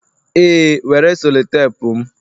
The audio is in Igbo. ee, were sellotape m